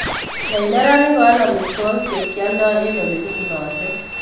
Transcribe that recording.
Yai neranik koal omitwogik chekyaldoo en ole kipunote